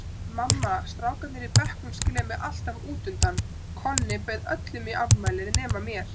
Mamma, strákarnir í bekknum skilja mig alltaf útundan, Konni bauð öllum í afmælið nema mér.